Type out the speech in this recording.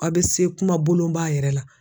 Aw bɛ se kuma bolonba yɛrɛ la.